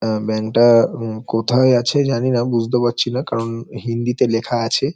আ bank -টা হম কোথায় আছে জানিনা বুঝতে পারছি না। কারন হিন্দিতে লেখা আছে।